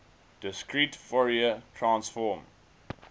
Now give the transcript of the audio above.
discrete fourier transform